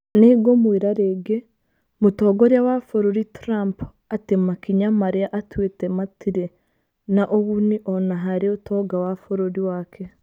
Nĩ ngũmwĩra rĩngĩ, Mũtongoria wa Bũrũri Trump, atĩ makinya marĩa atuĩte matirĩ na ũguni o na harĩ ũtonga wa bũrũri wake.